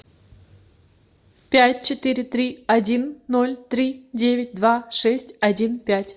пять четыре три один ноль три девять два шесть один пять